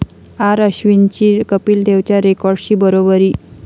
आर.अश्विनची कपिल देवच्या रेकॉर्डशी बरोबरी